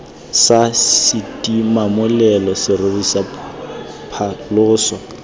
sa setimamolelo serori sa phaloso